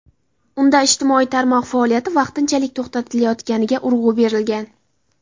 Unda ijtimoiy tarmoq faoliyati vaqtinchalik to‘xtatilayotganiga urg‘u berilgan.